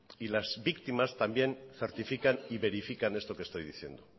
y las víctimas también certifican y verifican esto que estoy diciendo